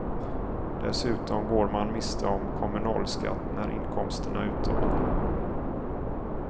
Dessutom går man miste om kommunalskatt när inkomsterna uteblir.